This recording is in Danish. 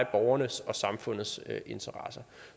borgernes og samfundets interesser